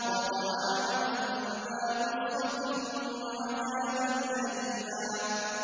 وَطَعَامًا ذَا غُصَّةٍ وَعَذَابًا أَلِيمًا